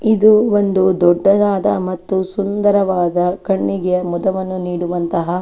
ಇದು ಒಂದು ದೊಡ್ಡದಾದ ಮತ್ತು ಸುಂದರವಾದ ಕಣ್ಣಿಗೆ ಮದುವನ್ನು ನೀಡುವಂತಹ.